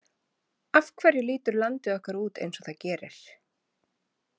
Af hverju lítur landið okkar út eins og það gerir?